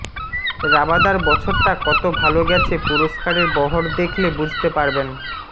রাবাদার বছরটা কত ভাল গেছে পুরস্কারের বহর দেখলে বুঝতে পারবেন